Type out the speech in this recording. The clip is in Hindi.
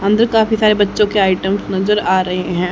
अंदर काफी सारे बच्चों के आइटम्स नजर आ रहे हैं।